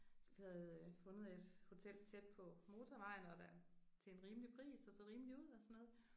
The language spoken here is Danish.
Vi havde fundet et hotel tæt på motorvejen og der til en rimelig pris og så rimelig ud og sådan noget